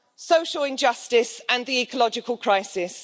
social injustice and the ecological crisis.